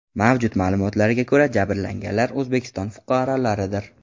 Mavjud ma’lumotlarga ko‘ra, jabrlanganlar O‘zbekiston fuqarolaridir.